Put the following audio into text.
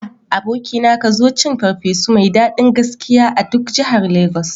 A, abokina, ka zo cin ferfesu mai daɗin gaskiya a duk jahar lagos